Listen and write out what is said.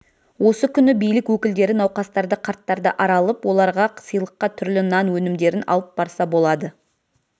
осы күні билік өкілдері науқастарды қарттарды аралып оларға сыйлыққа түрлі нан өнімдерін алып барса болады